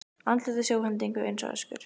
Andlit í sjónhendingu eins og öskur.